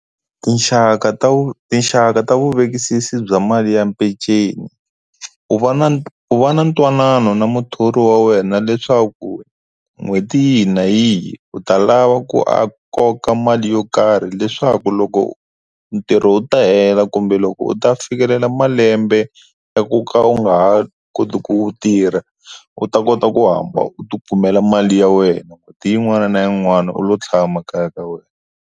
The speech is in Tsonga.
Tinxaka ta tinxaka ta vuvekisi bya mali ya mpenceni u va na u va na ntwanano na muthori wa wena leswaku n'hweti yihi na yihi u ta lava ku a koka mali yo karhi leswaku loko ntirho u ta hela kumbe loko u ta fikelela malembe ya ku ka u nga ha koti ku tirha u ta kota ku hamba u ti kumela mali ya wena n'hweti yin'wana na yin'wana u lo tshama kaya ka wena.